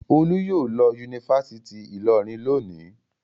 Olú yóò lọ Yunifásítì Ìlọrin lónìí.